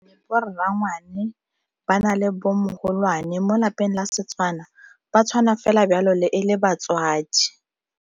Boranyane ba na le bo mo lapeng la Setswana ba tshwana fela jalo le e le batswadi.